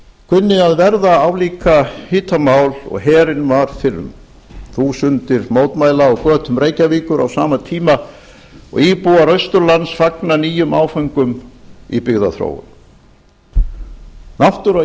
kunni að verða viðlíka hitamál og herinn var fyrrum þúsundir mótmæla á götum reykjavíkur á sama tíma og íbúar austurlands fagna nýjum áföngum í byggðaþróun náttúra